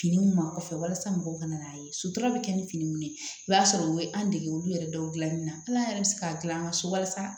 Fini min ma kɔfɛ walasa mɔgɔw ka na n'a ye sutura bɛ kɛ ni fini minnu ye i b'a sɔrɔ u ye an dege olu yɛrɛ dɔw dilanni na ala yɛrɛ bɛ se k'an gilan an ka so walasa